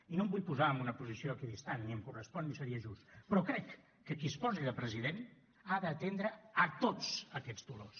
i no em vull posar en una posició equidistant ni em correspon ni seria just però crec que qui es posi de president ha d’atendre a tots aquests dolors